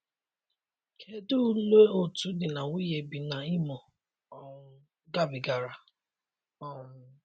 Kedụ ụle otu di na nwunye bi na Imo um gabigara? um